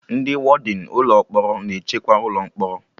Ndị wọdịn ụlọ mkpọrọ na-echekwa ụlọ mkpọrọ